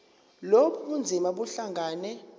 lobu bunzima buhlangane